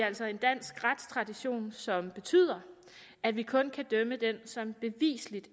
altså en dansk retstradition som betyder at vi kun kan dømme den som beviseligt